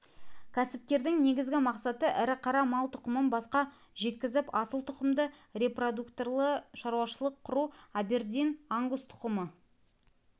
кәсіпкердің негізгі мақсаты ірі қара мал тұқымын басқа жеткізіп асыл тұқымды репродукторлы шаруашылық құру абердин-ангус тұқымы